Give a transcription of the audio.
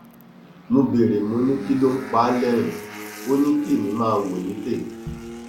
mo béèrè mo ní kí ló ń pa á lẹrìnín ò ní kí èmi máa wò ní tèmi